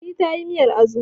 Fatima ta yi miyar Azu